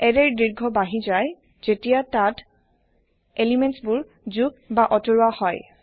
এৰেৰ দীৰ্ঘ বাৰ্হি যায় জেতিয়া তাত এলিমেন্টবোৰ যোগ বা আতৰোৱা হয়